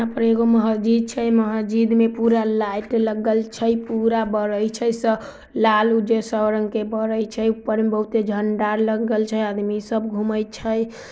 यहाँ पर कोई महजिद छै महजिद में पूरा लाइट लगल छै पूरा बरैय छै| स लाल-उज्जर सब रंग के बरैय छै ऊपर बहुत ए झंडा ल लगल छै आदमी सब घूमे छै।